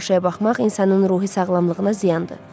Pis tamaşaya baxmaq insanın ruhi sağlamlığına ziyandır.